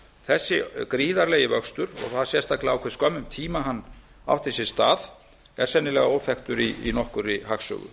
þessi gríðarlegi vöxtur og það sérstaklega á hve skömmum tíma hann átti sér stað er sennilega óþekktur í nokkur annarri hagsögu